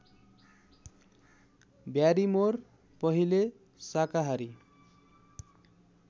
Barrymore पहिले शाकाहारी